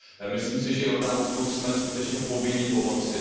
Myslím si, že Jordánsku jsme skutečně povinni pomoci.